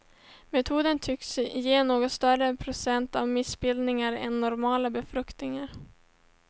Metoden tycks ge något större procent av missbildningar än normala befrukningar.